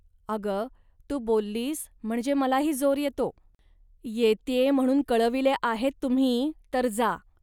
अग, तू बोललीस म्हणजे मलाही जोर येतो. येत्ये म्हणून कळविले आहेत तुम्ही, तर जा